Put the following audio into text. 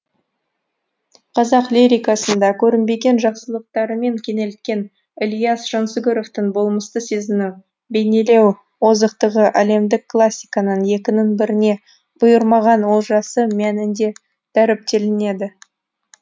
қазақ лирикасында көрінбеген жақсылықтарымен кенелткен ілияс жансүгіровтің болмысты сезіну бейнелеу озықтығы әлемдік классиканың екінің біріне бұйырмаған олжасы мәнінде дәріптеледі